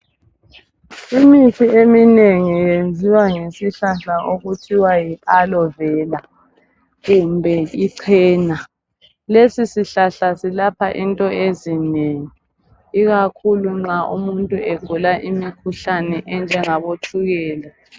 Imithi eminengi yenziwa ngesihlahla okuthiwa yi Aloe vela kumbe uchena. Lesihlahla silapha into ezinengi ikakhulu nxa umuntu egula imikhuhlane enjangabo tshukela.